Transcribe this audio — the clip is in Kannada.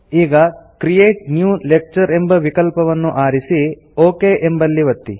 ಈಗ ಕ್ರಿಯೇಟ್ ನ್ಯೂ ಲೆಕ್ಚರ್ ಎಂಬ ವಿಕಲ್ಪವನ್ನು ಆರಿಸಿ ಒಕ್ ಎಂಬಲ್ಲಿ ಒತ್ತಿ